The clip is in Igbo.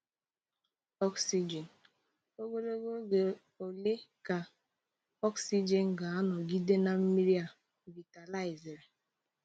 Oxijin: Ogologo oge ole ka oxijin ga-anọgide na mmiri a vitaliziri?